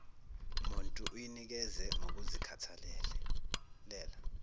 muntu uyinikeze ngokuzikhethela